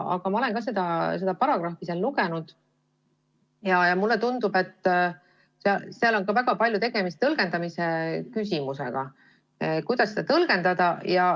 Aga ma olen ka ise seda paragrahvi lugenud ja mulle tundub, et seal on väga paljuski tegemist tõlgendamise küsimusega.